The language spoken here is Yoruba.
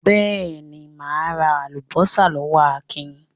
Beeni, ma ra alubosa lowo Akin